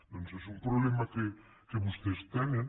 doncs és un problema que vostès tenen